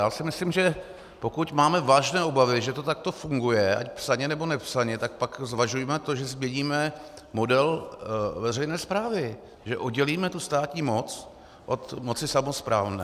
Já si myslím, že pokud máme vážné obavy, že to takto funguje, ať psaně, nebo nepsaně, tak pak zvažujme to, že změníme model veřejné správy, že oddělíme tu státní moc od moci samosprávné.